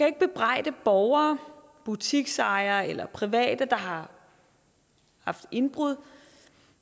ikke bebrejde borgere butiksejere eller private der har haft indbrud